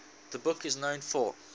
the book is known for